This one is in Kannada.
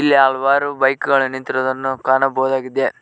ಹಲವಾರು ಬೈಕ್ ಗಳನ್ನು ನಿಂತಿರುವುದನ್ನು ನಾವು ಕಾಣಬಹುದಾಗಿದೆ.